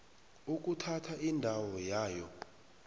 ukuthatha indawo yayo